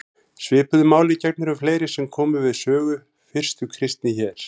Svipuðu máli gegnir um fleiri sem komu við sögu fyrstu kristni hér.